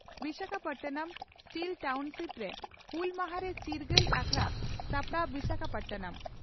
Visakhapatnam steel ᱴᱟᱣᱱᱥᱤᱯᱨᱮ ᱦᱩᱞ ᱢᱟᱦᱟ ᱨᱮ ᱪᱤᱨᱜᱟᱹᱞ ᱟᱠᱷᱲᱟ ᱥᱟᱯᱲᱟᱣ ᱵᱤᱥᱟᱠᱷᱟᱯᱟᱴᱱᱟᱢ